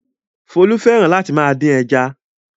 Folú fẹ́ràn láti máa dín ẹja.